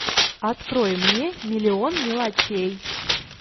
открой мне миллион мелочей